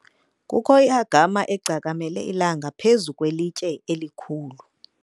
kukho i-agama egcakamele ilanga phezu kwelitye elikhulu